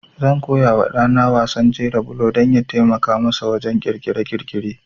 Zan koya wa ɗa na wasan jera bulo don ya taimaka masa wajen ƙirƙire-ƙirƙire.